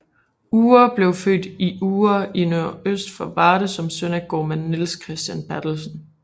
Uhre blev født i Uhre i nordøst for Varde som søn af gårdmand Niels Christian Berthelsen